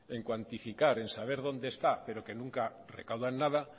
en cuantificar en saber dónde está pero que nunca recaudan nada